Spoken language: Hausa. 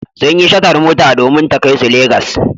Sun yi shatar mota domin ta kai su Legas.